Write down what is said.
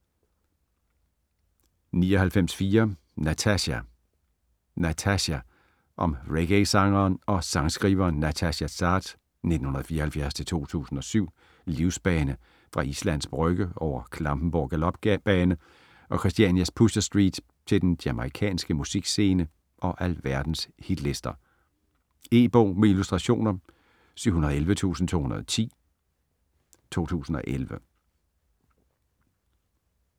99.4 Natasja Natasja Om reggaesangeren og sangskriveren Natasja Saads (1974-2007) livsbane fra Islands Brygge over Klampenborg Galopbane og Christianias Pusher Street til den jamaicanske musikscene og alverdens hitlister. E-bog med illustrationer 711210 2011.